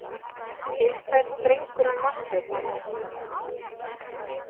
Indæll drengur hann Marteinn annars.